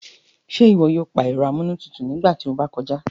Ṣe iwọ yoo pa ẹrọ amúlétutù nigba ti o ba kọja?